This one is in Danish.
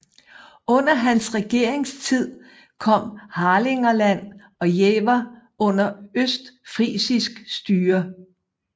Under hans regeringstid kom Harlingerland og Jever under østfrisisk styre